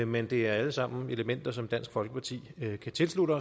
men det er alle sammen elementer som dansk folkeparti kan tilslutte